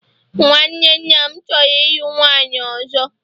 nwanne nna m choro ilu nwunye ozo